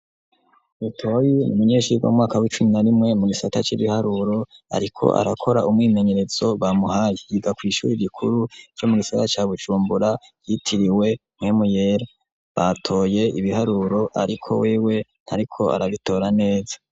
Butoyi n'umunyeshuri mumwaka w'icumi n'arimwe mu gisata c'ibiharuro ariko arakora umwimenyerezo bamuhaye yiga kw'ishuri rikuru ryo mugisagara ca bujumbura ryitiriwe Mpwemu yera, batoye ibiharuro ariko wewe ntariko arabitira neza.